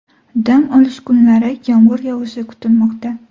Dam olish kunlari yomg‘ir yog‘ishi kutilmoqda.